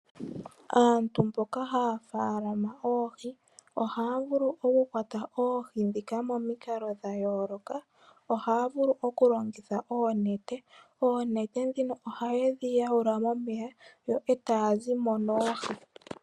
Aantu mboka haya tekula oohi, ohaya vulu okukwata oohi ndhika momikalo dha yooloka. Ohaya vulu okulongitha oonete eta ye dhi yaula momeya e taa zi mo noohi.